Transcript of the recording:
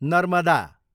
Narmada